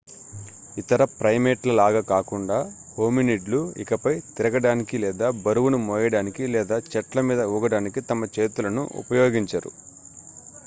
ఇతర ప్రైమేట్ల లాగా కాకుండా హోమినిడ్లు ఇకపై తిరగడానికి లేదా బరువును మోయడానికి లేదా చెట్ల మీద ఊగడానికి తమ చేతులను ఉపయోగించరు